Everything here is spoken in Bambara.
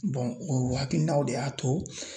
o hakilinaw de y'a to